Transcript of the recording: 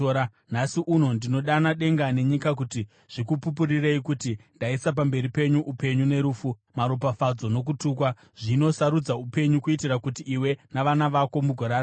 Nhasi uno ndinodana denga nenyika kuti zvikupupurirei kuti ndaisa pamberi penyu upenyu nerufu, maropafadzo nokutukwa. Zvino sarudza upenyu, kuitira kuti iwe navana vako mugorarama.